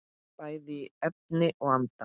Bæði í efni og anda.